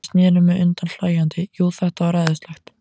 Ég sneri mér undan hlæjandi, jú, þetta var æðislegt.